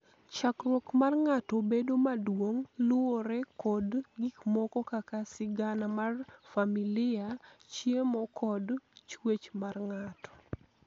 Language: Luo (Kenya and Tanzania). chakruok mar ng'ato bedo maduong' luwore kod gik moko kaka sigana mar familia, chiemo kod chwech mar ng'ato